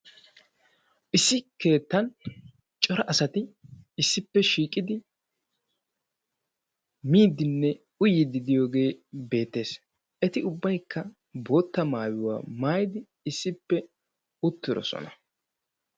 issi keettani corra assati issipe shiiqidi miidine uyidi diyoge beettessi etti ubbaykka bootta maayuwaa maayidi issipe uttidossona.